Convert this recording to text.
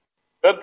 group captain